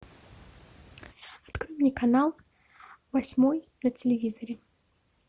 открой мне канал восьмой на телевизоре